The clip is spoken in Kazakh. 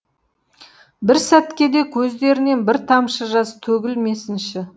бір сәтке де көздерінен бір тамшы жас төгілмесінші